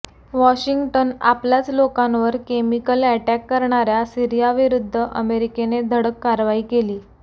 Washington आपल्याच लोकांवर chemical attack करणाऱ्या सीरियाविरुद्ध अमेरिकेने धडक कारवाई केली